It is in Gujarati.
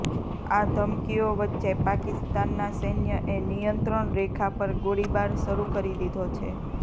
આ ધમકીઓ વચ્ચે પાકિસ્તાનના સૈન્યએ નિયંત્રણ રેખા પર ગોળીબાર શરૂ કરી દીધો છે